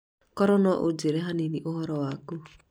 Korwo no ũnjĩre hanini uhoro waku